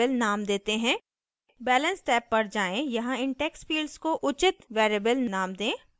balance tab पर जाएँ यहाँ इन text fields को उचित variable names दें